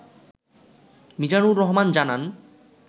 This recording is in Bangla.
মিজানুর রহমান জানান